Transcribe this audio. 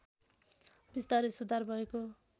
बिस्तारै सुधार भएको